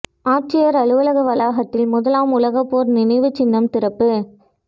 ஆட்சியா் அலுவலக வளாகத்தில் முதலாம் உலகப் போா் நினைவு சின்னம் திறப்பு